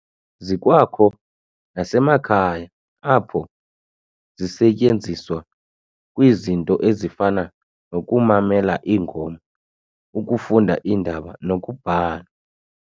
Zikwakho nasemakhaya, apho zisetyenziswa kwizinto ezifana nokumalela ingoma, ukufunda iindaba, nokubhala.